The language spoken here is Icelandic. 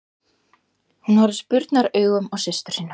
Hún horfði spurnaraugum á systur sína.